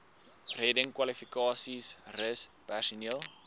reddingskwalifikasies rus personeel